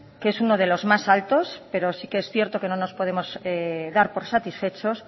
que es uno de los más altos pero sí que es cierto que no nos podemos dar por satisfechos